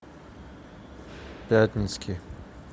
пятницкий